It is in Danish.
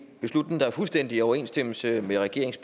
beslutning der er fuldstændig i overensstemmelse med regeringens